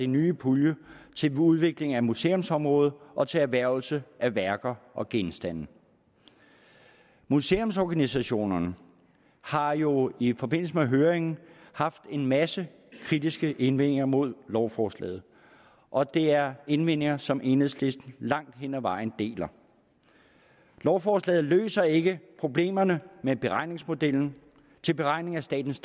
nye pulje til udvikling af museumsområdet og til erhvervelse af værker og genstande museumsorganisationerne har jo i forbindelse med høringen haft en masse kritiske indvendinger mod lovforslaget og det er indvendinger som enhedslisten langt hen ad vejen deler lovforslaget løser ikke problemerne med beregningsmodellen til beregning af statens